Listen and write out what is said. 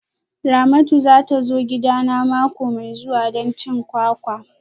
Ramatu za ta zo gidana mako mai zuwa don cin kwakwa